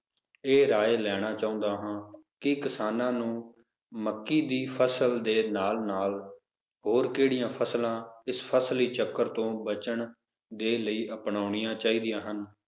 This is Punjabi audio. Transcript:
ਇਹ ਰਾਏ ਲੈਣਾ ਚਾਹੁੰਦਾ ਹਾਂ ਕਿ ਕਿਸਾਨਾਂ ਨੂੰ ਮੱਕੀ ਦੀ ਫਸਲ ਦੇ ਨਾਲ ਨਾਲ ਹੋਰ ਕਿਹੜੀਆਂ ਫਸਲਾਂ ਇਸ ਫਸਲੀ ਚੱਕਰ ਤੋਂ ਬਚਨ ਦੇ ਲਈ ਅਪਣਾਉਣੀਆਂ ਚਾਹੀਦੀਆਂ ਹਨ